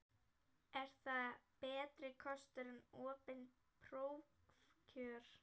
Er það betri kostur en opin prófkjör?